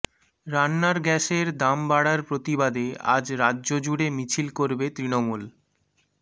রান্নার গ্যাসের দাম বাড়ার প্রতিবাদে আজ রাজ্য জুড়ে মিছিল করবে তৃণমূল